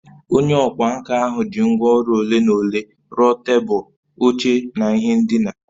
Onye ọkwá nkà ahụ ji ngwá ọrụ ole na ole rụọ tebụl, oche na ihe ndina